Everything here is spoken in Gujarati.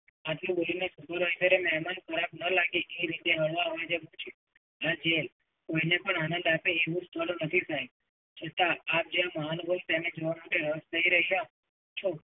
આટલું બોલીને supervisor એ મેમાન ખરાબ ન લાગે એ રીતે હળવા અવાજે પૂછ્યું, હા જી, કોઈને પણ આનંદ આપે એવું સ્થળ નથી સાહેબ. છતાં આપ જે મહાનુભાઈ જવાનો કઈ અર્થ નહીં રહ્યો છું.